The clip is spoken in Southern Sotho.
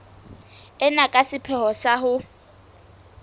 ena ka sepheo sa ho